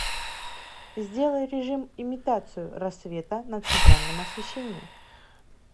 сделай режим имитацию рассвета на центральном освещении